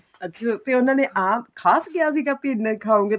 ਅੱਛਾ ਉਹਨਾ ਨੇ ਆਹ ਖ਼ਾਸ ਵਿਆਹ ਸੀਗਾ ਇਹਨਾ ਹੀ ਖਾਹੋਗੇ